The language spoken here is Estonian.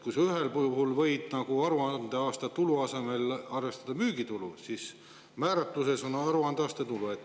Ühel puhul võib aruandeaasta tulu asemel arvestada müügitulu, aga määratluse puhul on aruandeaasta tulu.